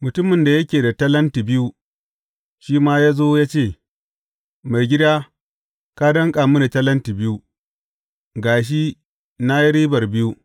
Mutumin da yake da talenti biyu, shi ma ya zo ya ce, Maigida, ka danƙa mini talenti biyu; ga shi, na yi ribar biyu.’